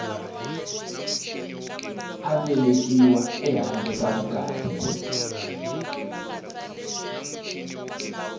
a velekiwe ehandle ka vukati